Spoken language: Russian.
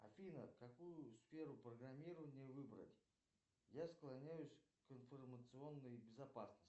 афина какую сферу программирования выбрать я склоняюсь к информационной безопасности